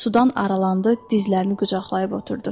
Sudan aralandı, dizlərini qucaqlayıb oturdu.